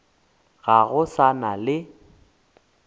ga go sa na le